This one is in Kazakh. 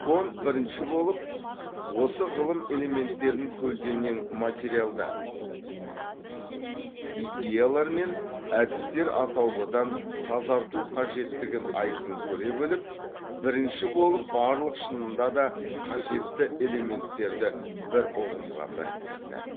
конт бірінші болып осы ғылым элементтерін көлденең материалдар идеялар мен әдістер атаулыдан тазарту қажеттігін айқын көре біліп бірінші болып барлық шынында да қажетті элементтерді бір ұғымға біріктірді